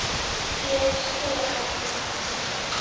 Ég er með skilaboð til þín.